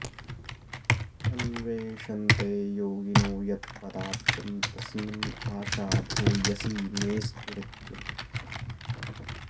अन्वेषन्ते योगिनो यत्पदाब्जं तस्मिन् आशा भूयसी मेऽस्तु नित्यम्